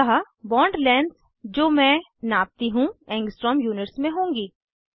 अतः bond lengths जो मैं नापती हूँ एंगस्ट्रॉम यूनिट्स में होंगी